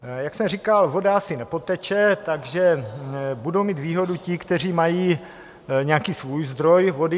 Jak jsem říkal, voda asi nepoteče, takže budou mít výhodu ti, kteří mají nějaký svůj zdroj vody.